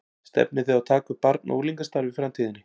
Stefnið þið á að taka upp barna og unglingastarf í framtíðinni?